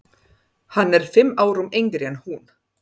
Hann er fimm árum yngri en hún.